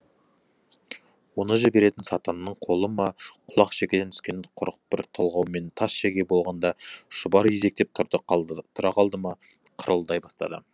оны жіберетін сатанның қолы ма құлақ шекеден түскен құрық бір толғаумен тас шеге болғанда шұбар изектеп тұра қалды да қырылдай бастады